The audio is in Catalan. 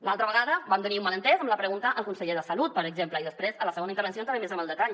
l’altra vegada vam tenir un malentès amb la pregunta al conseller de salut per exemple i després a la segona intervenció entraré més en el detall